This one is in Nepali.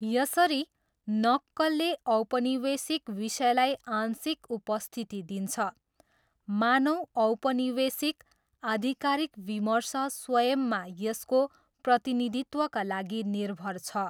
यसरी, नक्कलले औपनिवेशिक विषयलाई आंशिक उपस्थिति दिन्छ, मानौँ 'औपनिवेशिक' आधिकारिक विमर्श स्वयंमा यसको प्रतिनिधित्वका लागि निर्भर छ।